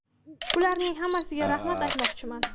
Ularning hammasiga rahmat aytmoqchiman.